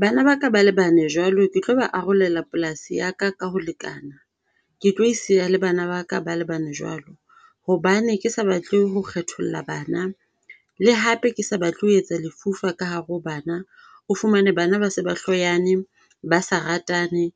Bana ba ka ba le bane jwalo ke tlo ba arolela polasi ya ka, ka ho lekana. Ke tlo e siya le bana ba ka ba le bane jwalo. Hobane ke sa batle ho kgetholla bana le hape ke sa batle ho etsa lefufa ka hare ho bana. O fumane bana ba se ba hloyane, ba sa ratane,